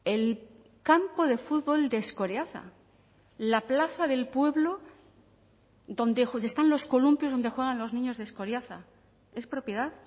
el campo de fútbol de escoriaza la plaza del pueblo donde están los columpios donde juegan los niños de escoriaza es propiedad